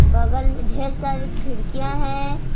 बगल में ढेर सारी खिड़कियां हैं।